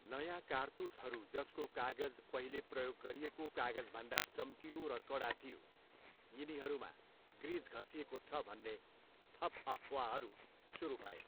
नयाँ कारतुसहरू जसको कागज पहिले प्रयोग गरिएको कागजभन्दा चम्किलो र कडा थियो, यिनीहरूमा ग्रिज घसिएको छ भन्ने थप अफवाहरू सुरु भए।